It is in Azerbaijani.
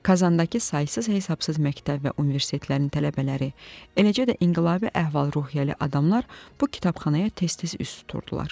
Kazandakı saysız-hesabsız məktəb və universitetlərin tələbələri, eləcə də inqilabi əhval-ruhiyyəli adamlar bu kitabxanaya tez-tez üz tuturdular.